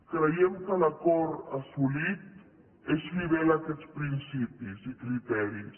creiem que l’acord assolit és fidel a aquests principis i criteris